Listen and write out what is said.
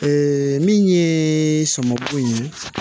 min ye sɔminko in ye